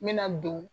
N bɛna don